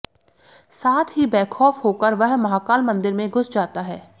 साथ ही बेखौफ होकर वह महाकाल मंदिर में घुस जाता है